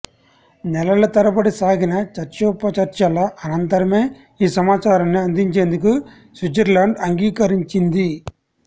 నెలల తరబడి సాగిన చర్చోపచర్చల అనంతరమే ఈ సమాచారాన్ని అందించేందుకు స్విట్జర్లాండ్ అంగీకరించింది